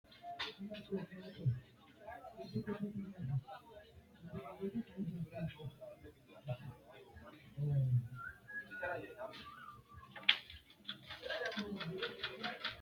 Bubbe woy wayi konne hoshoosham- ino bushsha haadhe harate wolqa ajjunsaro sayikkihu bushshu giddo higa kalaqantanno Bubbe woy wayi konne.